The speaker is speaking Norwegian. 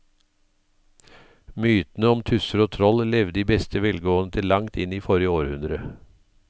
Mytene om tusser og troll levde i beste velgående til langt inn i forrige århundre.